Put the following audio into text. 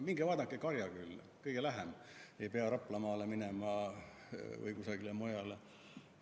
Minge vaadake Karjakülla, see on kõige lähem, ei pea Raplamaale minema või kusagile mujale.